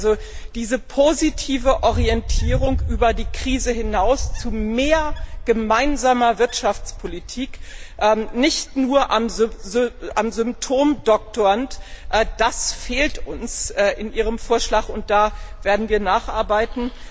Also diese positive Orientierung, über die Krise hinaus zu mehr gemeinsamer Wirtschaftspolitik und nicht nur am Symptom doktorend, das fehlt uns in ihrem Vorschlag, und da werden wir nacharbeiten.